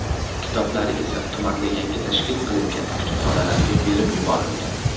Kitoblari esa tumanda yangi tashkil qilingan kutubxonalarga berib yuborilgan.